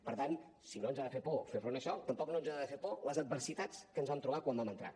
per tant si no ens ha de fer por fer front a això tampoc no ens han de fer por les adversitats que ens vam trobar quan vam entrar